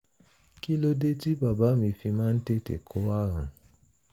kí ló dé tí bàbá mi fi máa ń tètè kó ààrùn?